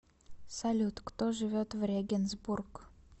салют кто живет в регенсбург